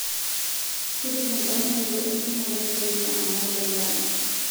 tipika endamunoto entumo taisere saa naudo endama